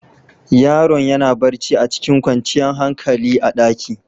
Yaron ya na barci a cikin kwancan hankali a'ɗaki.